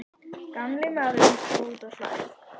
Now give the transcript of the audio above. Gamli maðurinn stóð úti á hlaði.